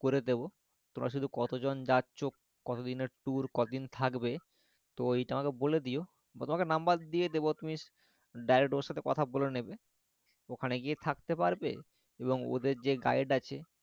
করে দেবো তোমরা শুধু কতজন যাচ্ছ কতদিনের tour কদিন থাকবে তো এইটা আমাকে বলে দিও তোমাকে number দিয়ে দেবো তুমি direct ওর সাথে কথা বলে নেবে ওখানে গিয়ে থাকতে পারবে এবং ওদের যে guide আছে করে দেবো